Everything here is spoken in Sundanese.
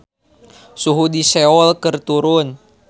Suhu di Seoul keur turun